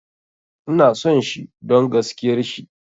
Ina son shi don gaskiar shi